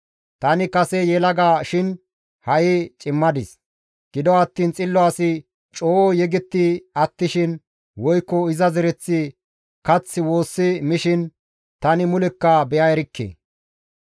Tani kase yelaga shin ha7i cimadis; gido attiin xillo asi coo yegetti attishin, woykko iza zereththi kath woossi mishin tani mulekka be7a erikke.